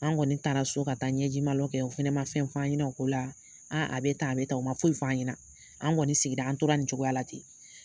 An kɔni taara so ka taa ɲɛjimalɔ kɛ, o fɛnɛ ma fɛn f'an ɲɛnɛ o ola a bɛ tan, a bɛ tan, o ma foyi fan ɲɛna an kɔni sigira, an tora nin cogoya la ten.